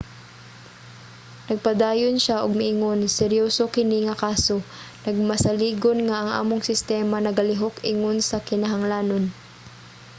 nagpadayon siya og miingon seryoso kini nga kaso. magmasaligon nga ang among sistema nagalihok ingon sa kinahanglanon.